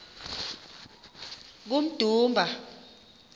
kummdumba